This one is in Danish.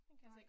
Nej